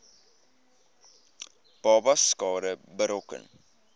babas skade berokken